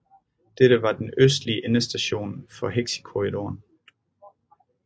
Dette var den østlige endestation for hexikorridoren